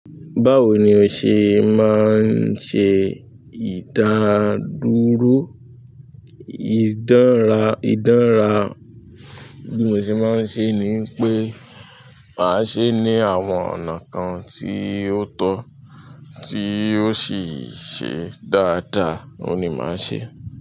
Báwo ni o ṣe máa ń ṣe ìdádúró? Ìdánra, ìdánra bí mo ṣe máa ń ṣe ni pé màá ṣe ní àwọn ọ̀nà kan tí ó tọ́ tí ó sì ṣe dáadáa, òun ni màá ṣe.